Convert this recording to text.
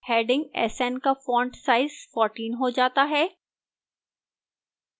heading sn का font size 14 हो जाता है